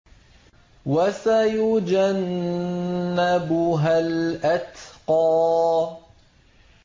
وَسَيُجَنَّبُهَا الْأَتْقَى